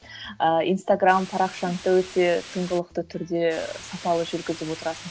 ыыы инстаграмм парақшаңды да өте тыңғылықты түрде сапалы жүргізіп отырасың